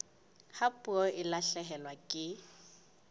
ha puo e lahlehelwa ke